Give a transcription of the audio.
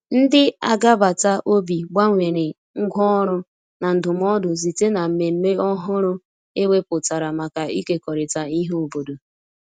ndi agabata obi gbanwere ngwa ọrụ na ndumụdo site na mmeme ọhụrụ e weputara maka ikekọrita ihe obodo